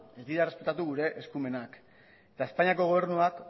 ez dira errespetatu gure eskumenak eta espainiako gobernuak